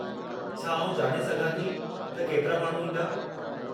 छा आउं ॼाणे सघां थी त केतिरा माण्हू ईंदा?